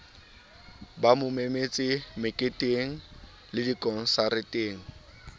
ba mo memetse meketengle dikonsareteng